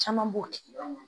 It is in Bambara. Caman b'o tigi la